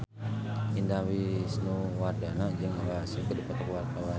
Indah Wisnuwardana jeung Oasis keur dipoto ku wartawan